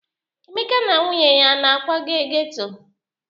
Emeka na nwunye ya ana-akwaga geto?